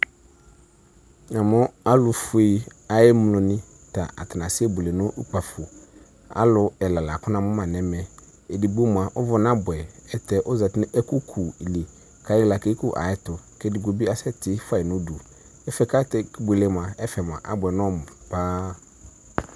Afue ayʋ emloni kase buele nʋ ʋkpafo alʋ ɛla lakʋ namʋ la nʋ ɛmɛ edigbo mʋa ʋvʋ na bʋɛ ayɛlʋtɛ ozati nʋ ɛkʋkʋli kekʋ ayʋ ɛtʋ kʋ edigno kasɛ tifua yi nʋ ʋdʋ ɛfʋɛ kʋ ake buele abʋɛ nɔmʋ paa